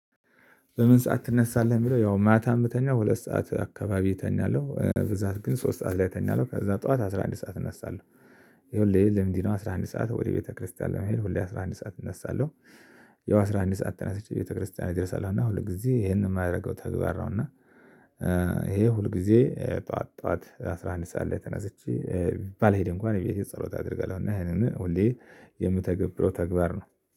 "በምን ሰዓት ትነሳለህ?" ለሚለው ያው ማታ ምተኛው ሁለት ሰዓት አካባቢ እተኛለሁ፣ በብዛት ግን ሶስት ሰዓት ላይ እተኛለው ከዛ ጠዋት አስራ አንድ ሰዓት እናሳለሁ። ይኸውልህ ይሄ ልምዴ ነው አስራ አንድ ሰዓት ወደ ቤተክርስቲያን ለመሄድ ሁሌ አስራ አንድ ሰዓት እነሳለሁ። ያው አስራ አንድ ሰዓት ተነስቼ ቤተክርስቲያን እደርሳለሁ፤ እና ሁል ጊዜ ይሄንን የማደርገው ተግባር ነው፤ እና ይሄ ሁልጊዜ ጠዋት ጠዋት አስራ አንድ ሰዓት ላይ ተነስቼ ባልሄድ እንኳን እቤቴ ጸሎት አደርጋለሁ፤ እና ይሄንን ሁሌ የምተገብረው ተግባር ነው።